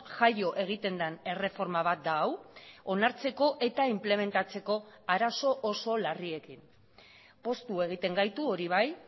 jaio egiten den erreforma bat da hau onartzeko eta inplementatzeko arazo oso larriekin poztu egiten gaitu hori bai